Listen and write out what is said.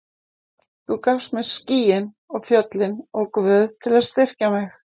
Þú gafst mér skýin og fjöllin og Guð til að styrkja mig.